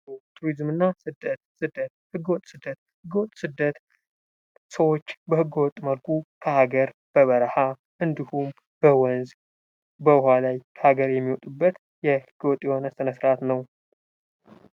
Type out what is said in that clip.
ቱሪስም እና ስደት:- ስደት ህገ ወጥ ስደት ሰዎች በህገ ወጥ መልኩ በበረሀ እንዲሁም በወንዝ በዉኃ ላይ ከሀገር የሚወጡበት ህገወጥ የሆነ ስነስርዓት ዉ።